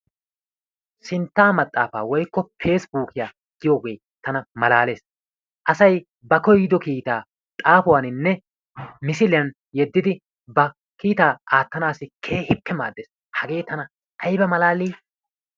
Sintta maxaafa woykko pesibukkiya giyooge tana malaalees. Asay ba koyyido kiittaa xaafuwaninne misiliyaan yeddidi ba kiittaa aattanassi keehippe maaddees. Hagee tana aybba malaali!